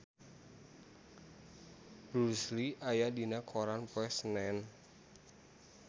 Bruce Lee aya dina koran poe Senen